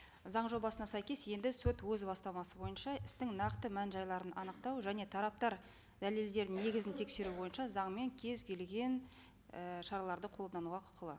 заң жобасына сәйкес енді сот өз бастамасы бойынша істің нақты мән жайларын анықтау және тараптар дәлелдер негізін тексеру бойынша заңмен кез келген і шараларды қолдануға құқылы